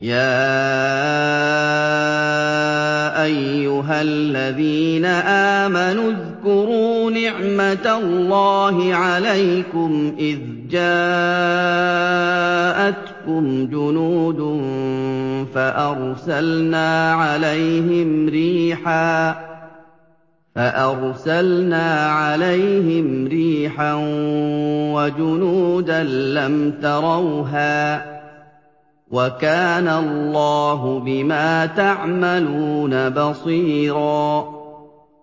يَا أَيُّهَا الَّذِينَ آمَنُوا اذْكُرُوا نِعْمَةَ اللَّهِ عَلَيْكُمْ إِذْ جَاءَتْكُمْ جُنُودٌ فَأَرْسَلْنَا عَلَيْهِمْ رِيحًا وَجُنُودًا لَّمْ تَرَوْهَا ۚ وَكَانَ اللَّهُ بِمَا تَعْمَلُونَ بَصِيرًا